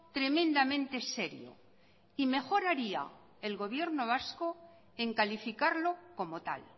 tremendamente serio y mejoraría el gobierno vasco en calificarlo como tal